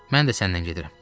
Mən də səninlə gedirəm.